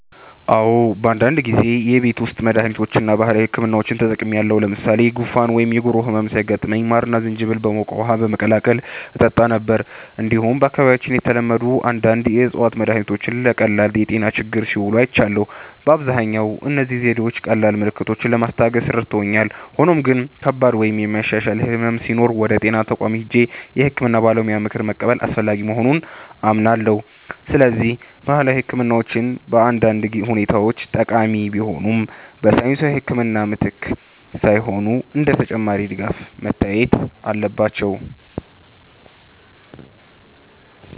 "አዎ፣ በአንዳንድ ጊዜ የቤት ውስጥ መድሃኒቶችን እና ባህላዊ ሕክምናዎችን ተጠቅሜያለሁ። ለምሳሌ ጉንፋን ወይም የጉሮሮ ህመም ሲያጋጥመኝ ማርና ዝንጅብል በሞቀ ውሃ በመቀላቀል እጠጣ ነበር። እንዲሁም በአካባቢያችን የተለመዱ አንዳንድ የእፅዋት መድሃኒቶች ለቀላል የጤና ችግሮች ሲውሉ አይቻለሁ። በአብዛኛው እነዚህ ዘዴዎች ቀላል ምልክቶችን ለማስታገስ ረድተውኛል፣ ሆኖም ግን ከባድ ወይም የማይሻሻል ሕመም ሲኖር ወደ ጤና ተቋም ሄጄ የሕክምና ባለሙያ ምክር መቀበል አስፈላጊ መሆኑን አምናለሁ። ስለዚህ ባህላዊ ሕክምናዎች በአንዳንድ ሁኔታዎች ጠቃሚ ቢሆኑም፣ በሳይንሳዊ ሕክምና ምትክ ሳይሆን እንደ ተጨማሪ ድጋፍ መታየት አለባቸው።"